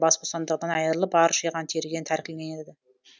бас бостандығынан айырылып бар жиған тергені тәркіленеді